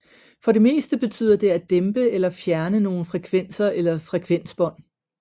For det meste betyder det at dæmpe eller fjerne nogle frekvenser eller frekvensbånd